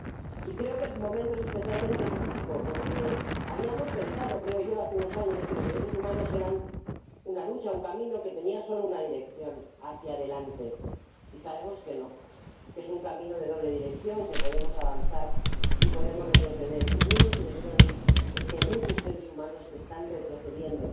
Y creo que el momento es especialmente crítico, porque habíamos pensado, creo yo, hace unos años, que los derechos humanos eran una lucha, un camino que tenía solo una dirección hacia adelante, y sabemos que no, que es un camino de doble dirección, que podemos avanzar y podemos retroceder, y mi impresión es que hay muchos seres humanos que están retrocediendo